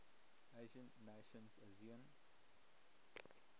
asian nations asean